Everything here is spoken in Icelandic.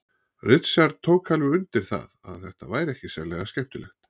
Richard tók alveg undir það að þetta væri ekki sérlega skemmtilegt.